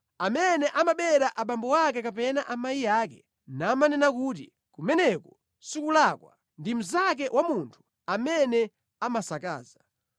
Amene amabera abambo ake kapena amayi ake namanena kuti “kumeneko sikulakwa,” ndi mnzake wa munthu amene amasakaza.